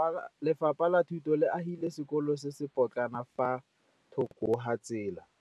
Lefapha la Thuto le agile sekôlô se se pôtlana fa thoko ga tsela.